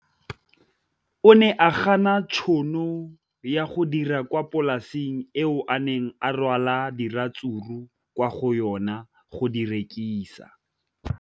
O ne a gana tšhono ya go dira kwa polaseng eo a neng rwala diratsuru kwa go yona go di rekisa.